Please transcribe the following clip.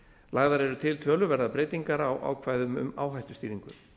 lagðar eru til töluverðar breytingar á ákvæðum um áhættustýringu